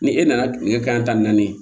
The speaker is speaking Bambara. Ni e nana nɛgɛ kanɲɛ tan ni naani ye